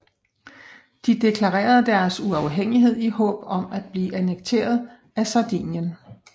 De deklarerede deres uafhængighed i håb om at blive annekteret af Sardinien